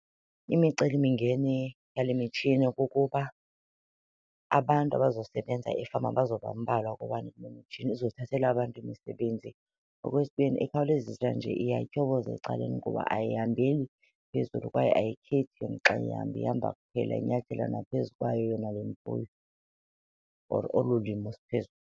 Imicelimingeni yale mitshini kukuba abantu abazosebenza efama bazoba mbalwa kuba nale mitshini izothathela abantu imisebenzi. Okwesibini, ikhawulezisa nje iyatyhoboza ecaleni kuba ayihambeli phezulu kwaye ayikhethi xa ihamba, ihamba kuphela inyathela naphezu kwayo yona le mfuyo or olu limo .